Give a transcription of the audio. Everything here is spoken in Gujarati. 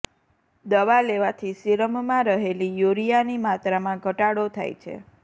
દવા લેવાથી સીરમમાં રહેલી યુરિયાની માત્રામાં ઘટાડો થાય છે